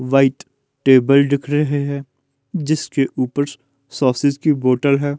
White table दिख रहे हैं जिसके ऊपर सॉसेज़ की बोटल है।